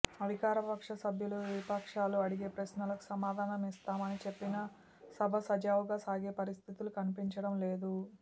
అధికారపక్ష సభ్యులు విపక్షాలు అడిగే ప్రశ్నలకు సమాధానం ఇస్తామని చెప్పినా సభ సజావుగా సాగే పరిస్థితులు కనిపించడంలేదు